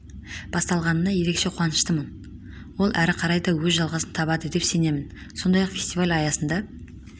басталғанына ерекше қуаныштымын ол әрі қарай да өз жалғасын табады деп сенемін сондай-ақ фестиваль аясында